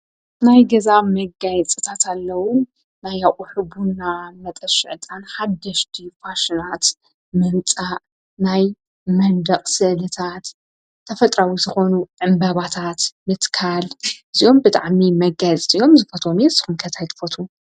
ናይ ገዛ መጋየፅታት ኣለዉ ናይ ኣቅሑ ቡና መጠሺ ዕጣን ሓደሽቲ ፋሽናት ምምፃእ ናይ መንደቅ ስእልታት ተፈጥራዊ ዝኾኑ ዕንበባታት ምትካል እዚኦም ብጣዕሚ መጋየፂ እዮም ። ዝፈትዎም እዩ ንስኩም ከ ታይ ትፈትዉ?